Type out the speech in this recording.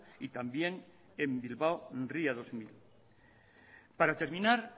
y también en bilbao ría dos mil para terminar